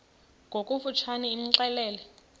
ngokofu tshane imxelele